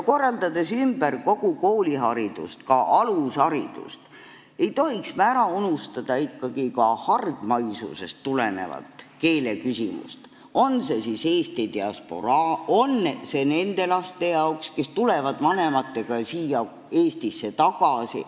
Korraldades ümber kogu kooliharidust, ka alusharidust, ei tohiks me ikkagi ära unustada ka hargmaisusest tulenevat keeleküsimust, on see siis eesti diasporaa või need lapsed, kes tulevad vanematega Eestisse tagasi.